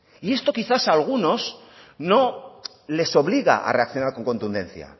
y esto quizás a algunos no les obliga a reaccionar con contundencia